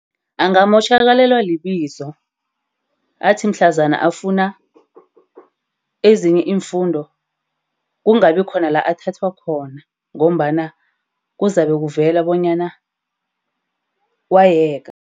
Angamotjhakalelwa libizo. Athi mhlazana afuna ezinye iimfundo, kungabi khona la athathwa khona ngombana kuzabe kuvela bonyana wayeka.